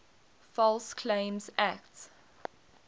false claims act